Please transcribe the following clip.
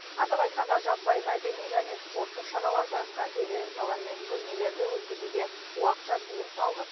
атап айтқанда жаппай мәдени және спорттық шараларды конференциялар мен көрмелерді өткізуге уақытша тыйым салынып